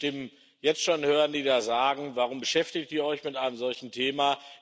Ich kann die Stimmen jetzt schon hören, die da sagen Warum beschäftigt ihr euch mit einem solchen Thema?